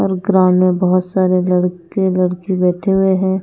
और ग्राउंड में बहुत सारे लड़के लड़की बैठे हुए हैं।